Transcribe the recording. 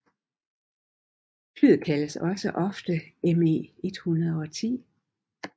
Flyet kaldes også ofte Me 110